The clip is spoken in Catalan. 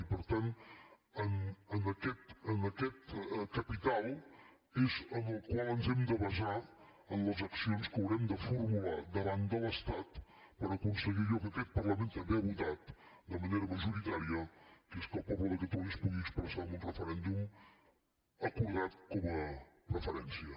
i per tant en aquest capital és en el qual ens hem de basar en les accions que haurem de formular davant de l’estat per aconseguir allò que aquest parlament també ha votat de manera majoritària que és que el poble de catalunya es pugui expressar en un referèndum acordat com a preferència